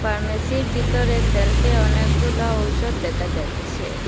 ফার্মেসির বিতরে শেলফে অনেকগুলা ঔষুধ দেখা যাচ্ছে।